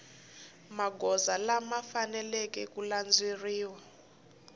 magoza lama faneleke ku landzeleriwa